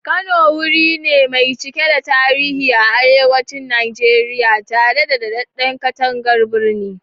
Kano wuri ne mai cike da tarihi a arewacin Najeriya, tare da dadadden katangar birni.